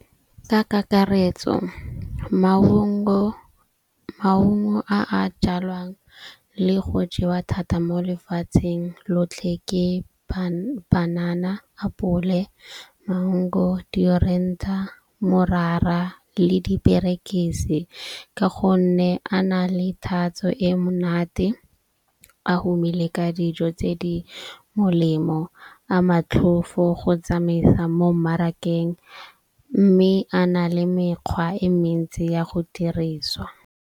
Ka kakaretso maungo a a jalwang le go jewa thata mo lefatsheng lotlhe ke banana, apole, mango, , morara le diperekisi. Ka gonne a na le tatso e monate, a humile ka dijo tse di molemo, a matlhofo go tsamaisa mo mmarakeng. Mme a na le mekgwa e mentsi ya go diriswa.